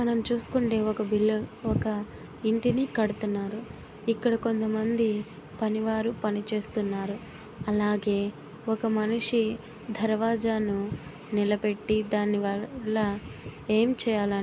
మనం చూసుకుంటే ఒక బిల్డ ఒక ఇంటిని కడుతున్నారు. ఇక్కడ కొంతమంది పనివారు పని చేస్తున్నారు. అలాగే ఒక మనిషి దర్వాజాను నిలబెట్టి దానివల్ల ఏం చేయాల--